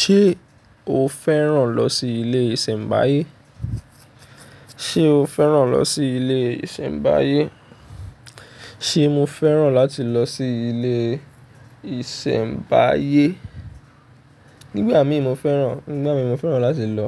Ṣé o fẹ́ràn lọ sí ilé ìsẹ̀mbáyé? Ṣé o fẹ́ràn lọ sí ilé ìsẹ̀mbáyé? Ṣé mo fẹ́ràn láti lọ sí ilé ìsẹ̀mbáyé? Nígbà mí mo fẹ́ràn, nígbà mí mo fẹ́ràn láti lọ,